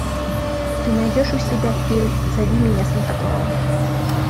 ты найдешь у себя фильм зови меня санта клаус